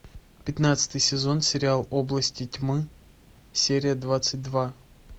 пятнадцатый сезон сериал области тьмы серия двадцать два